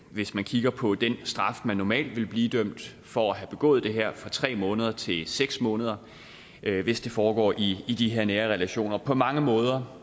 hvis vi kigger på den straf man normalt vil blive idømt for at have begået det her fra tre måneder til seks måneder hvis det foregår i i de her nære relationer og på mange måder